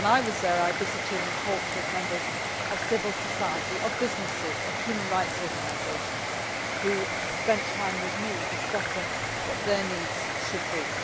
When I was there, I visited and talked with members of civil society, businesses and human rights' organisations, who spent time with me discussing what their needs should be.